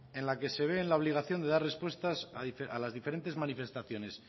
en la que se ve en la obligación de dar respuestas a las diferentes manifestaciones